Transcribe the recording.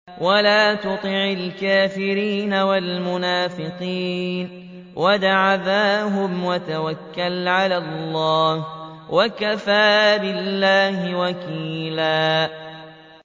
وَلَا تُطِعِ الْكَافِرِينَ وَالْمُنَافِقِينَ وَدَعْ أَذَاهُمْ وَتَوَكَّلْ عَلَى اللَّهِ ۚ وَكَفَىٰ بِاللَّهِ وَكِيلًا